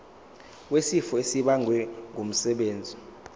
wesifo esibagwe ngumsebenzi